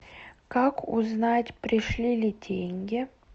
как узнать пришли ли деньги